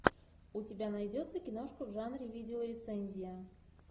у тебя найдется киношка в жанре видеорецензия